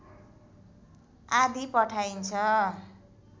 आदि पठाइन्छ